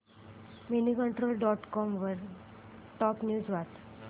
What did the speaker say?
Moneycontrol dot com वरील top news वाच